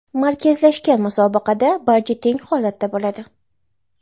Markazlashgan musobaqada barcha teng holatda bo‘ladi.